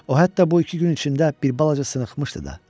O hətta bu iki gün içində bir balaca sınxmışdı da.